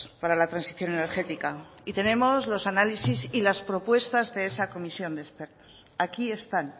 para la transición energética y tenemos los análisis y las propuestas de esa comisión de expertos aquí están